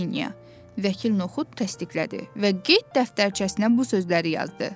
Vəkil Noxud təsdiqlədi və qeyd dəftərçəsinə bu sözləri yazdı: